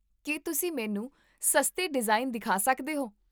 ਕੀ ਤੁਸੀਂ ਮੈਨੂੰ ਸਸਤੇ ਡਿਜ਼ਾਈਨ ਦਿਖਾ ਸਕਦੇ ਹੋ?